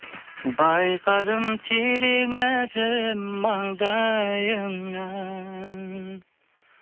байқадым терең әжім маңдайыңнан